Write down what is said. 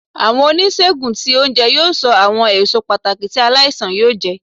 Awọn onisegùn tí ounjẹ yóò ṣo awọn èsó pàtàkì ti aláísàn yóò jẹ.